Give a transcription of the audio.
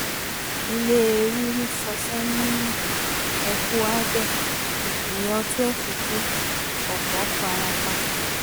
ilé ríri ṣọṣẹ́ ní ecuador èèyàn twelve ku ọ̀pọ̀ farapa